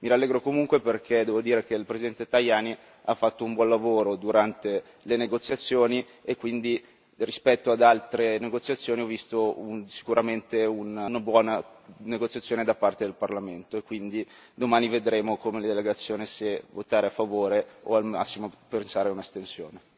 Mi rallegro comunque perché devo dire che il presente Tajani ha fatto un buon lavoro durante le negoziazioni e quindi rispetto ad altre negoziazioni ho visto sicuramente una buona negoziazione da parte del Parlamento e quindi domani vedremo come delegazione se votare a favore o al massimo pensare a un'astensione.